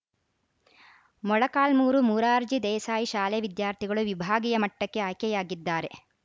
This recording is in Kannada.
ಮೊಳಕಾಲ್ಮುರು ಮುರಾರ್ಜಿ ದೇಸಾಯಿ ಶಾಲೆ ವಿದ್ಯಾರ್ಥಿಗಳು ವಿಭಾಗೀಯ ಮಟ್ಟಕ್ಕೆ ಆಯ್ಕೆಯಾಗಿದ್ದಾರೆ